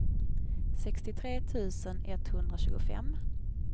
sextiotre tusen etthundratjugofem